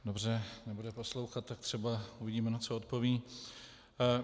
Dobře, nebude poslouchat, tak třeba uvidíme, na co odpoví.